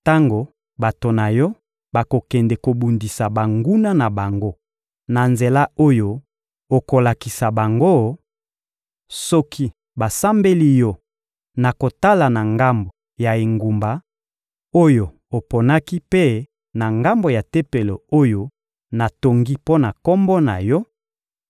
Tango bato na Yo bakokende kobundisa banguna na bango na nzela oyo okolakisa bango, soki basambeli Yo na kotala na ngambo ya engumba oyo oponaki mpe na ngambo ya Tempelo oyo natongi mpo na Kombo na Yo,